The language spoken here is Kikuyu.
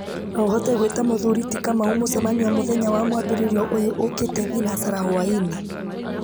no ũhote gwĩta mũthuri ti kamau mũcemanio mũthenya wa mwambĩrĩrio ũyũ ũũkĩte thinacara hwaĩ-inĩ